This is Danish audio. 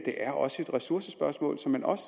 er også et ressourcespørgsmål som man også